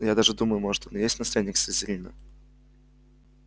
я даже думаю может он и есть наследник слизерина